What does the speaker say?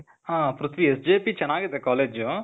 ಹಾ ಪ್ರಿಥ್ವಿ, SJP ಚನಾಗಿದೆ college.